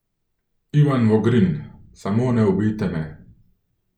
Ivan Vogrin: 'Samo ne ubijte me.